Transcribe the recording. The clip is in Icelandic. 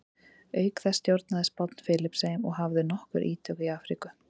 Auk þessa stjórnaði Spánn Filippseyjum og hafði nokkur ítök í Afríku.